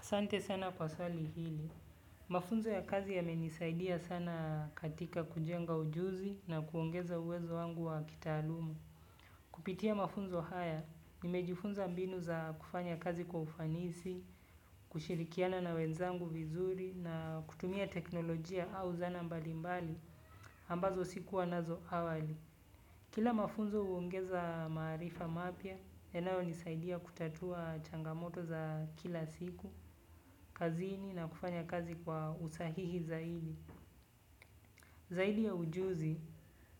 Asante sana kwa swali hili. Mafunzo ya kazi yamenisaidia sana katika kujenga ujuzi na kuongeza uwezo wangu wa kitaalumu. Kupitia mafunzo haya nimejifunza mbinu za kufanya kazi kwa ufanisi kushirikiana na wenzangu vizuri na kutumia teknolojia au zana mbalimbali ambazo sikuwa nazo awali. Kila mafunzo huongeza maarifa mapya, yanayonisaidia kutatua changamoto za kila siku, kazini na kufanya kazi kwa usahihi zaidi. Zaidi ya ujuzi